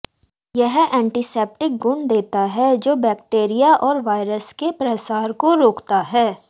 यह एंटीसेप्टिक गुण देता है जो बैक्टीरिया और वायरस के प्रसार को रोकता है